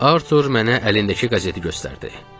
Artur mənə əlindəki qəzeti göstərdi.